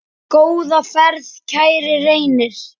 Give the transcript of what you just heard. Góða ferð, kæri Reynir.